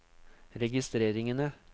registreringene